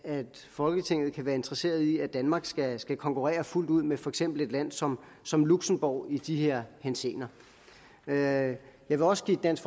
folketinget kan være interesseret i at danmark skal skal konkurrere fuldt ud med for eksempel et land som som luxembourg i de her henseender jeg jeg vil også give dansk